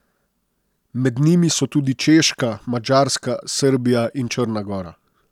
Med njimi so tudi češka, Madžarska, Srbija in Črna gora.